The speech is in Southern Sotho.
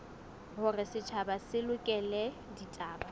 hore setjhaba se lekole ditaba